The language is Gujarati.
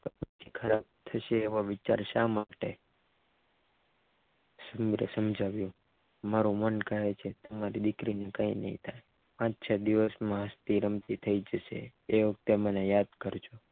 ખરાબ થશે એવા વિચાર શા માટે સમીર સમજાવ્યું મારું મન કહે છે કે મારી દીકરીને કંઈ નહીં થાય પાંચ છ દિવસમાં રમતી થઇ જશે એ વખતે તમે મને યાદ કરજો